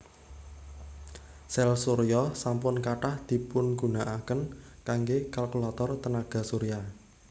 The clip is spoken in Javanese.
Sèl surya sampun kathah dipungunakaken kanggé kalkulator tenaga surya